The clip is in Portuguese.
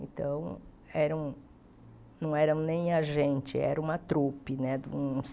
Então, era um não eram nem a gente, era uma trupe né, uns.